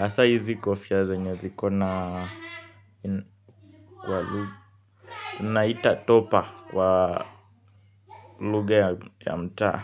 hasaa hizi kofia zenye ziko na naita topa wa lugha ya mtaa.